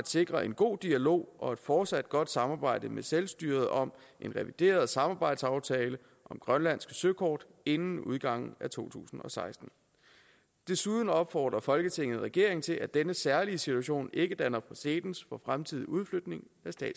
sikre en god dialog og et fortsat godt samarbejde med selvstyret om en revideret samarbejdsaftale om grønlandske søkort inden udgangen af to tusind og seksten desuden opfordrer folketinget regeringen til at denne særlige situation ikke danner præcedens for fremtidig udflytning